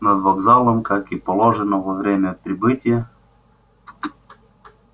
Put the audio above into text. над вокзалом как и положено во время прибытия